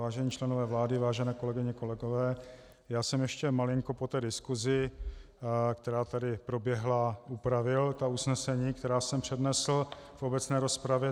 Vážení členové vlády, vážené kolegyně, kolegové, já jsem ještě malinko po té diskusi, která tady proběhla, upravil ta usnesení, která jsem přednesl v obecné rozpravě.